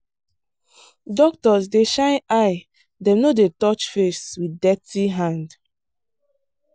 doctors dey shine eye dem no dey touch face with dirty hand.